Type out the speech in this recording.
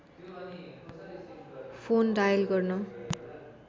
phone dial गर्न